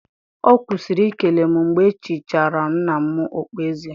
Ọ kwụsịrị ikele m mgbe e chichara nna m okpueze